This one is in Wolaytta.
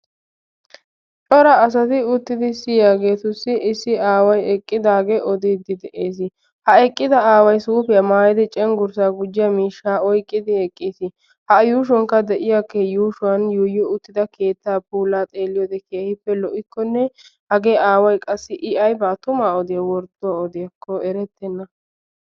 cora asati uttidi siyyiyaageetussi issi aaway eqqidaage oddiide de'ees. ha eqqida aaway suufiya maayyidi cenggurssa gujjiya miishsha oyqqidi eqqiis. ha a yuushshuwankka de'iyaa, yuushshuwan yuuyyi uttida keetta puula xeeliyoode keehippe lo''ikkone hage aawa qassi I aybba tuma odiya wordduwa odiyakko erettena.